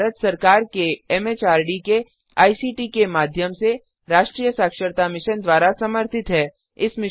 यह भारत सरकार एमएचआरडी के आईसीटी के माध्यम से राष्ट्रीय साक्षरता मिशन द्वारा समर्थित है